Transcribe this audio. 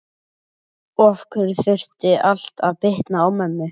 Og af hverju þurfti allt að bitna á mömmu?